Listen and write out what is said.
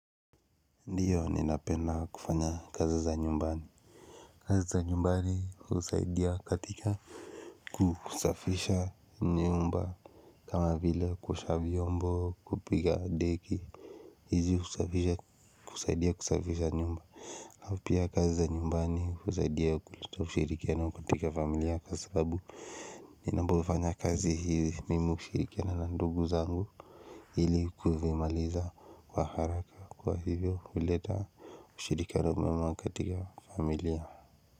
Ndio ninapenda kufanya kazi za nyumbani kazi za nyumbani husaidia katika kusafisha nyumba kama vile kuosha vyombo kupiga deki hizi kusaidia kusafisha nyumba aupia kazi za nyumbani husaidia kuleta ushirikiano katika familia kwa sababu ninapofanya kazi hizi mimi hushirikiana na ndugu zangu ili kuvimaliza kwa haraka kwa hivyo kuleta ushirikano mwema katika familia.